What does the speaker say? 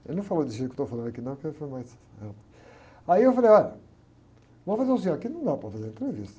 Ele não falou desse jeito que eu estou falando aqui, não, porque foi mais... Aí eu falei, olha, vamos fazer o seguinte, aqui não dá para fazer entrevista.